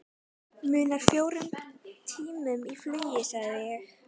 Munar fjórum tímum í flugi sagði ég.